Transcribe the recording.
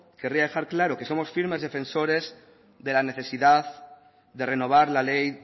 querría dejar claro que somos firmes defensores de la necesidad de renovar la ley